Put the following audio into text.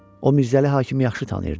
O Mirzəli Hakimi yaxşı tanıyırdı.